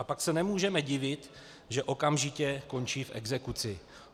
A pak se nemůžeme divit, že okamžitě končí v exekuci.